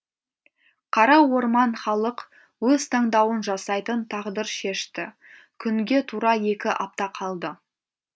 қара орман халық өз таңдауын жасайтын тағдыршешті күнге тура екі апта қалды